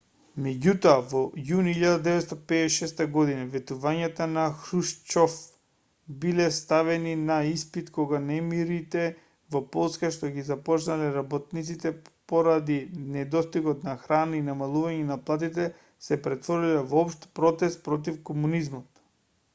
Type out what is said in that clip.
меѓутоа во јуни 1956 година ветувањата на хрушчов биле ставени на испит кога немирите во полска што ги започнале работниците поради недостигот на храна и намалувањето на платите се претвориле во општ протест против комунизмот